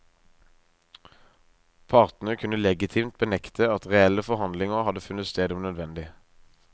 Partene kunne legitimt benekte at reelle forhandlinger hadde funnet sted om nødvendig.